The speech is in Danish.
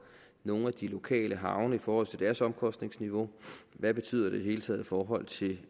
nogle af de lokale havne i forhold til deres omkostningsniveau hvad betyder det i hele taget i forhold til